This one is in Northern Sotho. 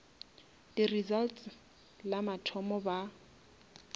di results la mathomo ba